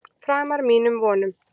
Framar mínum vonum